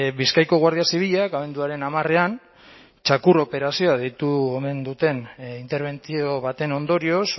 bizkaiko guardia zibilak abenduaren hamarean txakur operazioa deitu omen duten interbentzio baten ondorioz